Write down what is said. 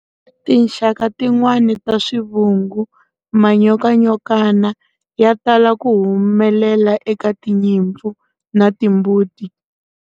Tinxaka tin'wana ta swivungu, manyokanyokana, ya tala ku humelela eka tinyimpfu na timbuti.